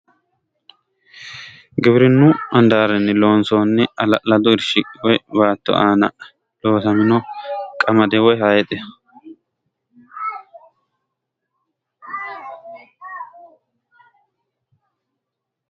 Giwirinnu handaarinni loonsoonni hala'lado irshi woyi baatto aana loosamino qamade woyi haayixeho.